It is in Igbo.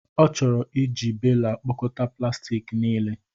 Ọ chọrọ iji bela kpokọta plastik niile.